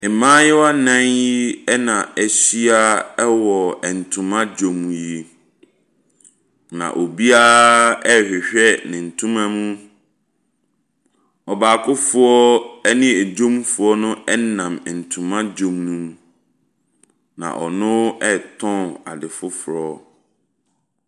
Mmaayewa nan yi ɛna ɛhyia wɔ ntoma dwom yi, na obia rehwehwɛ ne ntoma mu. Ɔbaaokofoɔ ɛne edwomfoɔ ɛnam ntoma dwom no mu na ɔno tɔn ade foforɔ.